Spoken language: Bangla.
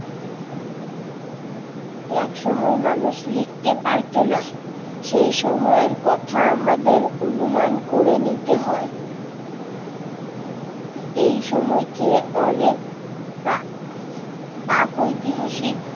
এক সময় মানুষ লিখতে পারতো না, সেই সময়ের কথা আমাদের অনুমান করে নিতে হয়। এই সময়কে অনেকটা প্রাগৈতিহাসিক